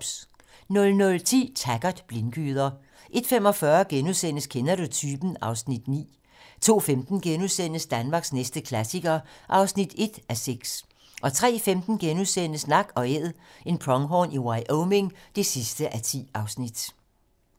00:10: Taggart: Blindgyder 01:45: Kender du typen? (Afs. 9)* 02:15: Danmarks næste klassiker (1:6)* 03:15: Nak & Æd - en pronghorn i Wyoming (10:10)*